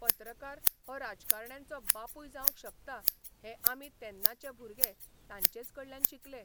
पत्रकार हो राजकारण्यांचो बापूय जावंक शकता हें आमी तेन्नाचे भुरगे तांचेच कडल्यान शिकले.